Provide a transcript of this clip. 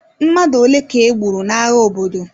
Mmadụ ole ka e gburu n'agha obodo?